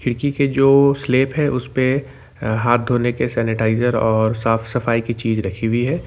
खिड़की के जो स्लैप है उसपे हाथ धोने के सैनिटाइजर और साफ सफाई की चीज रखी हुई है।